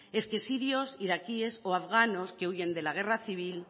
es que sirios iraquíes o afganos que huyen de la guerra civil